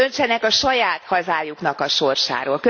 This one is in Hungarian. Önök döntsenek a saját hazájuknak a sorsáról.